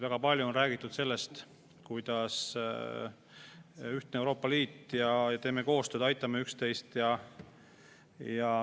Väga palju on räägitud sellest, et meil on ühtne Euroopa Liit ja teeme koostööd, aitame üksteist.